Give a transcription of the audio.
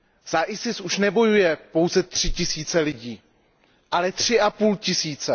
Za IS už nebojuje pouze tři tisíce lidí, ale tři a půl tisíce.